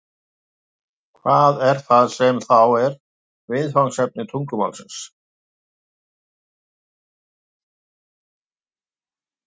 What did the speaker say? hvað er það sem þá er viðfangsefni tungumálsins